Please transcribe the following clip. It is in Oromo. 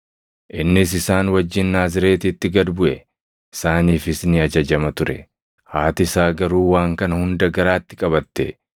Innis isaan wajjin Naazreetitti gad buʼe; isaaniifis ni ajajama ture. Haati isaa garuu waan kana hunda garaatti qabatte.